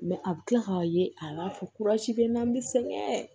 a bɛ kila k'a ye a b'a fɔ kurasi bɛ n na n bɛ sɛgɛn